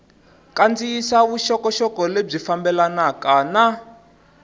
kandziyisa vuxokoxoko lebyi fambelanaka na